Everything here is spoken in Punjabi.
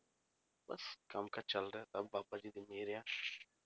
ਬਸ ਕੰਮ ਕਾਜ ਚੱਲਦਾ ਹੈ ਸਭ ਬਾਬਾ ਜੀ ਦੀ ਮਿਹਰ ਆ